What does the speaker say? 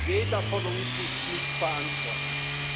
Jeder von uns ist mitverantwortlich.